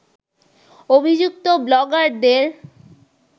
অভিযুক্ত ব্লগারদের